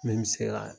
Min bɛ se ka